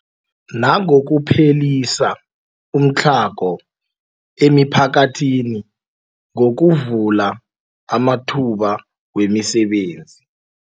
Nangokuphelisa umtlhago emiphakathini ngokuvula amathuba wemisebenzi.